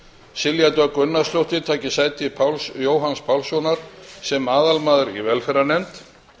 silja dögg gunnarsdóttir taki sæti páls jóhanns pálssonar sem aðalmaður í velferðarnefnd